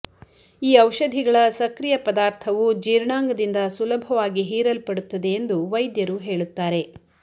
ಈ ಔಷಧಿಗಳ ಸಕ್ರಿಯ ಪದಾರ್ಥವು ಜೀರ್ಣಾಂಗದಿಂದ ಸುಲಭವಾಗಿ ಹೀರಲ್ಪಡುತ್ತದೆ ಎಂದು ವೈದ್ಯರು ಹೇಳುತ್ತಾರೆ